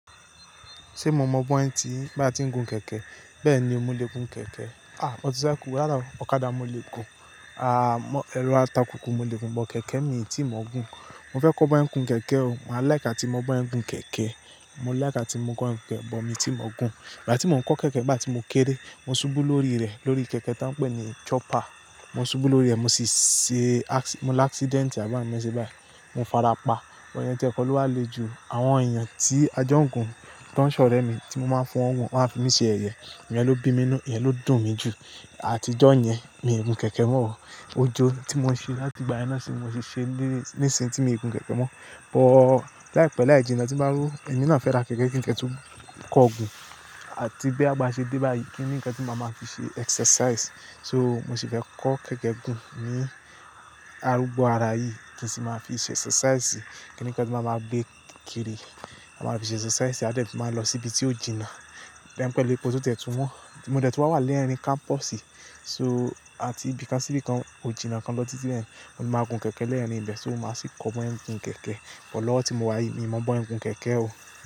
Ṣé mo mọ bí wọ́n ti, bí a ti ń gun kẹ̀kẹ́? Bẹ́ẹ̀ ni, mo lè gun kẹ̀kẹ́. À, motorcycle, ọ̀kadà mo lè gun. À, ẹ̀rọ ata kòkò mo lè gun, but kẹ̀kẹ́ mi tí mò ń gun. Mo fẹ́ kọ́ ọ bí wọ́n ń gun kẹ̀kẹ́ o, màá like atí mọ bá ń gun kẹ̀kẹ́. Mo like tí mo ń gun kẹ̀kẹ́, but mi tí mò ń gun. Ìgbà tí mò ń kọ́ kẹ̀kẹ́, ìgbà tí mo kéré, mo ṣubú lórí rẹ̀, lórí kẹ̀kẹ́ tá ń pè ní chopper. Mo ṣubú lórí rẹ̀, mo ṣiṣẹ́-- mo ní accident, àbámẹ́ta ṣe báyìí. Mo farapa, ọ̀pọ̀ ènìyàn tí ẹ kọlu wá le jù, àwọn ènìyàn tí ajá ń gun tí wọ́n ṣọ̀rẹ́ mi tí mo máa ń fún wọ́n, wọ́n máa ń fi mí ṣe yẹ̀yẹ. Ìyẹn ló bí mí mọ́, Ìyẹn ló dùn mí jù. Àtijọ́ yẹn, mi ò gun kẹ̀kẹ́ mọ́ o. Ojó tí mo ṣe láti ìgbà yẹn náà sì ni mo ti ṣe léṣe, léṣe tí mo ti ń gun kẹ̀kẹ́ mọ́. But láìpẹ́ láì jìnnà tí màá ró, èmi náà fẹ́ ra kẹ̀kẹ́ kí n kẹ́tù kọ gun. Àti bí a bá ṣe dé báyi, kí n ní ǹkan tí màá máa fi ṣe exercise. So, mo sì fẹ́ kọ́ kẹ̀kẹ́ gun ní arugbo ara yìí kí èmi sì máa fi ṣe exercise. Kí ni ǹkan tí màá máa gbé kiri, màá fi ṣe exercise. A dẹ́rẹ̀ tí màá lọ síbi tí ò jìnnà. Láìpẹ́ lẹ́po tí ó dẹ́tù wọn. Mo dẹ́tù wá wà lẹ́rin campus. So, àti bí kan sí bí kan, ò jìnnà kan lọ́ ti tí ẹ́, mo máa gun kẹ̀kẹ́ lẹ́nu ilé, so mo máa sì kọ́ ọ bí wọ́n ń gun kẹ̀kẹ́. But lowo tí mo wá yìí, mi ò mọ bí wọ́n ń gun kẹ̀kẹ́ o.